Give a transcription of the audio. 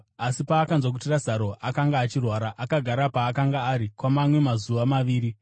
Asi paakanzwa kuti Razaro akanga achirwara, akagara paakanga ari kwamamwe mazuva maviri.